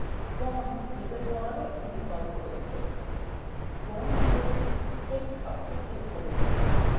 bonds label করারও একটি বিকল্প আছে bond labels text box click করুন